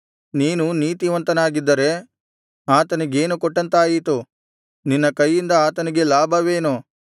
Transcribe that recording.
ನೀನು ನೀತಿವಂತನಾಗಿದ್ದರೆ ಆತನಿಗೇನು ಕೊಟ್ಟಂತಾಯಿತು ನಿನ್ನ ಕೈಯಿಂದ ಆತನಿಗೆ ಲಾಭವೇನು